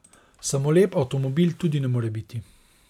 Samo lep avtomobil tudi ne more biti.